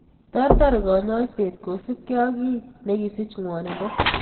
Ter ter kanyoiset kosupkei ak kii ne kisich ngwonindo.